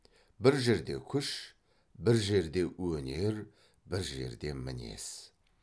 бір жерде күш бір жерде өнер бір жерде мінез